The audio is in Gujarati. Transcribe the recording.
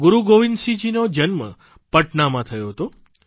ગુરૂ ગોવિંદસિંહજીનો જન્મ પટનામાં થયો હતો